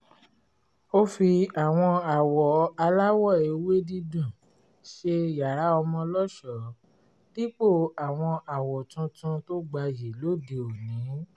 ó fi àwọn àwọ̀ aláwọ̀ ewé dídùn ṣe yàrá ọmọ lọ́ṣọ̀ọ́ dípò àwọn àwọ̀ tuntun tó gbayì lóde òní